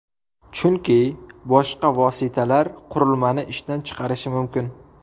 Chunki boshqa vositalar qurilmani ishdan chiqarishi mumkin.